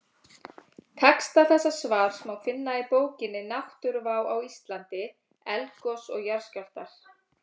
Texta þessa svars má finna í bókinni Náttúruvá á Íslandi: Eldgos og jarðskjálftar.